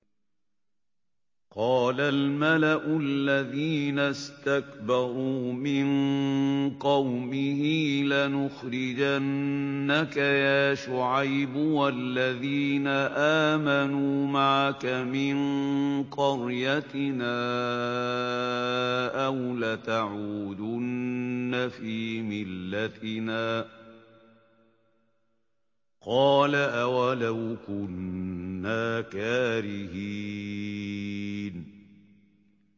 ۞ قَالَ الْمَلَأُ الَّذِينَ اسْتَكْبَرُوا مِن قَوْمِهِ لَنُخْرِجَنَّكَ يَا شُعَيْبُ وَالَّذِينَ آمَنُوا مَعَكَ مِن قَرْيَتِنَا أَوْ لَتَعُودُنَّ فِي مِلَّتِنَا ۚ قَالَ أَوَلَوْ كُنَّا كَارِهِينَ